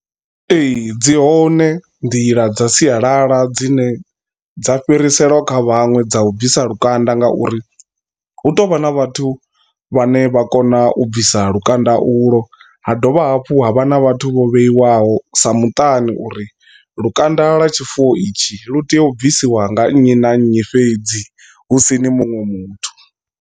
Ee dzi hone nḓila dza sialala dzine dza fhiriselwa kha vhaṅwe dza u bvisa lukanda ngauri hu tovha na vhathu vhane vha kona u bvisa lukanda ulo, ha dovha hafhu ha vha na vhathu vho vheiwaho sa muṱani uri lukanda lwa tshifuwo itshi lu tea u bvisiwa nga nnyi na nnyi fhedzi husini muṅwe muthu.